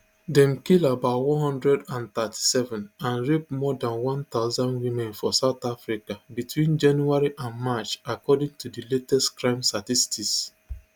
dem kill about one hundred and thirty-seven and rape more dan one thousand women for south africa between january and march according to di latest crime statistics